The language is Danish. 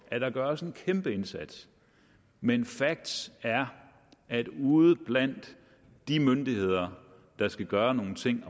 at der gøres en kæmpe indsats men facts er at ude blandt de myndigheder der skal gøre nogle ting